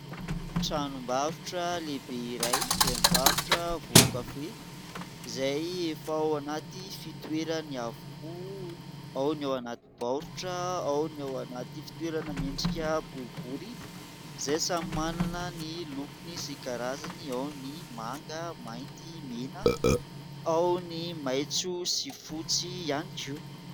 Tranom-barotra lehibe iray izay mivarotra vovo-kafe izay efa ao anaty fitoerany avokoa. Ao ny ao anaty baoritra, ao ny ao anaty fitoerana miendrika boribory izay samy manana ny lokony sy karazany. Ao ny manga, mainty, mena. Ao ny maitso sy fotsy ihany koa.